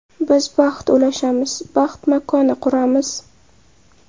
Biz baxt ulashamiz, baxt makoni quramiz.